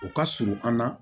O ka surun an na